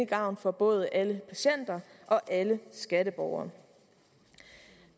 gavn for både alle patienter og alle skatteborgere